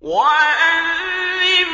وَأَذِّن